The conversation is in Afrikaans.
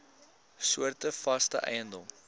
soorte vaste eiendom